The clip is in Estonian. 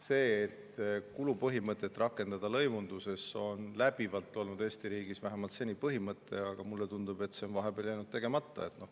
See, et kulupõhimõtet tuleks rakendada lõivunduses, on läbivalt olnud Eesti riigis vähemalt seni põhimõte, aga mulle tundub, et see on vahepeal jäänud tegemata.